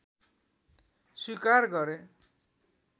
स्वीकार गरे